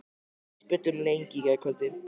Við spjölluðum lengi í gærkvöldi.